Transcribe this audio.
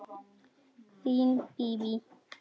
Þín Bíbí.